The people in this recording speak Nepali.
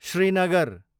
श्रीनगर